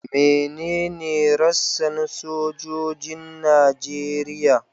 Menene rassan sojojin Najeriya?